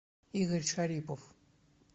игорь шарипов